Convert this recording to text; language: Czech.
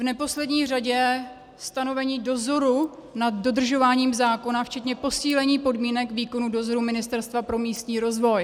v neposlední řadě stanovení dozoru nad dodržováním zákona včetně posílení podmínek výkonu dozoru Ministerstva pro místní rozvoj.